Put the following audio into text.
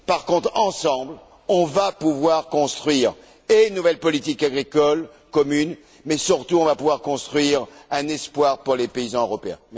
Par contre, ensemble, nous allons pouvoir construire une nouvelle politique agricole commune, mais, surtout, nous allons pouvoir construire un espoir pour les paysans européens.